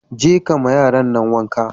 Je kama yaran nan wanka.